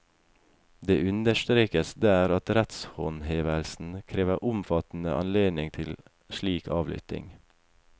Det understrekes der at rettshåndhevelsen krever omfattende anledning til slik avlytting.